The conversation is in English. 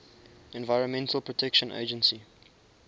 environmental protection agency